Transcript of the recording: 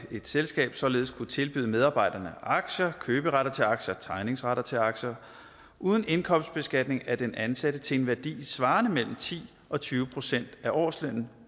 selskab således kunne tilbyde medarbejderne aktier køberetter til aktier tegningsretter til aktier uden indkomstbeskatning af den ansatte til en værdi svarende til mellem ti og tyve procent af årslønnen